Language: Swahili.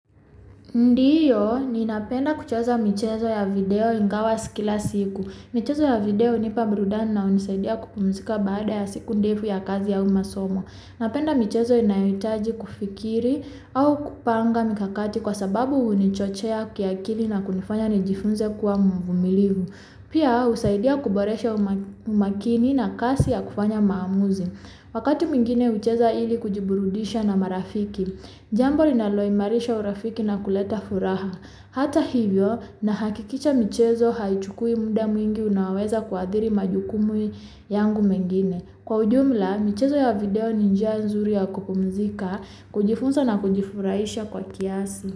Ndiyo, ninapenda kucheza michezo ya video ingawa si kila siku. Michezo ya video hunipa burudani na hunisaidia kupumzika baada ya siku ndefu ya kazi au masomo. Napenda michezo inayohitaji kufikiri au kupanga mikakati kwa sababu hunichochea kiakili na kunifanya nijifunze kua mvumilivu. Pia husaidia kuboresha umakini na kasi ya kufanya maamuzi. Wakati mwingine hucheza ili kujiburudisha na marafiki. Jambo linaloimarisha urafiki na kuleta furaha. Hata hivyo nahakikisha michezo haichukui muda mwingi unaoweza kuadhiri majukumu yangu mengine. Kwa ujumla, michezo ya video ni njia nzuri ya kupumzika, kujifunza na kujifurahisha kwa kiasi.